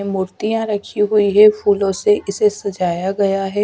मूर्तियां रखी हुई है फूलों से इसे सजाया गया है।